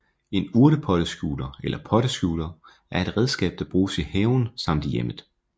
En urtepotteskjuler eller potteskjuler er et redskab der bruges i haven samt i hjemmet